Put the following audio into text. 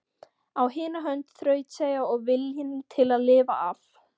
Á hina hönd þrautseigja og viljinn til að lifa af.